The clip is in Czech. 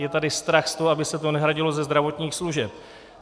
Je tady strach z toho, aby se to nehradilo ze zdravotních služeb.